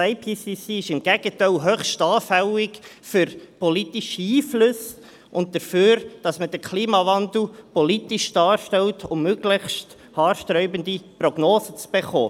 Der IPCC ist im Gegenteil höchst anfällig für politische Einflüsse und dafür, dass man den Klimawandel politisch darstellt, um möglichst haarsträubende Prognosen zu erhalten.